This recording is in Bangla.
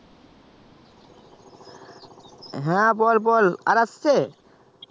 হ্যা বল বল আর আসছে